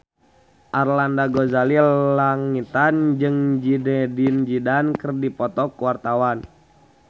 Arlanda Ghazali Langitan jeung Zidane Zidane keur dipoto ku wartawan